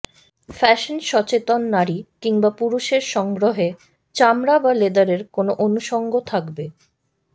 fashion সচেতন নারী কিংবা পুরুষের সংগ্রহে চামড়া বা লেদারের কোনো অনুষঙ্গ থাকবে